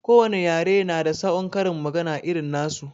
Ko wane yare su na da saon karin magana irin nasu